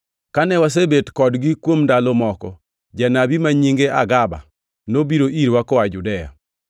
Kane wasebet kodgi kuom ndalo moko, janabi ma nyinge Agaba nobiro irwa koa Judea.